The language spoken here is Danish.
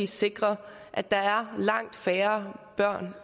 sikre at der langt færre børn